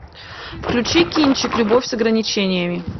включи кинчик любовь с ограничениями